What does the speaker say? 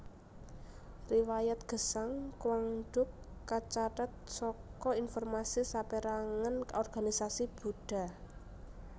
Riwayat gesang Quang Duc kacathet saka informasi sapérangan organisasi Buddha